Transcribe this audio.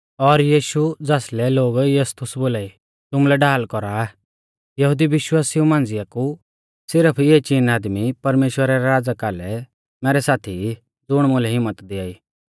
और यीशु ज़ासलै लोग यूस्तुस बोलाई तुमुलै ढाल कौरा आ यहुदी विश्वासिऊ मांझ़िया कु सिरफ इऐ चीन आदमी परमेश्‍वरा रै राज़ा कालै मैरै साथी ई ज़ुण मुलै हिम्मत दियाई